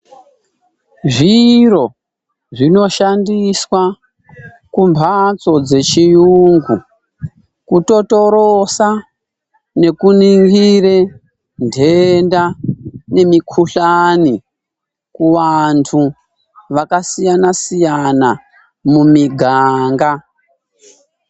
Zviro zvinoshandiswa kumphatso dzechiyungu kutotoroda nekuningire ntenda nemikuhlani kuvantu vakasiyana siyana mumiganga.